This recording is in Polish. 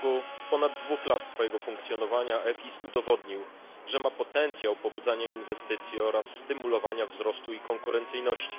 W ciągu ponad dwóch lat swojego funkcjonowania EFIS udowodnił, że ma potencjał pobudzania inwestycji oraz stymulowania wzrostu i konkurencyjności.